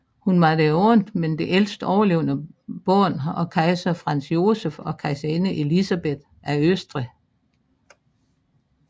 Hun var det andet men ældste overlevende barn af kejser Franz Joseph og kejserinde Elisabeth af Østrig